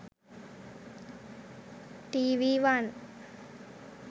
tv one